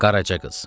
Qaraca qız.